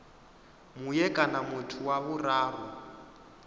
mue kana muthu wa vhuraru